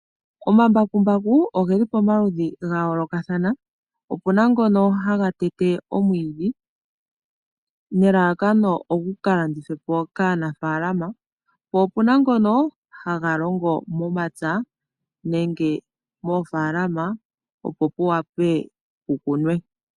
Omambakumbaku oge li pomaludhi ga yoolokathana, opu na ngono haga tete omwiidhi nelalakano ogu ka landithwepo kaanafalama, po opuna ngono ha ga longo momapya nenge moofalama opo ku wape kukunwe.